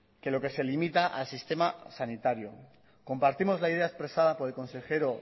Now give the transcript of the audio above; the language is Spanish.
que lo que se limita al sistema sanitario compartimos la idea expresada por el consejero